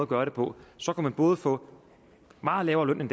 gøre det på så kunne man både få meget lavere løn end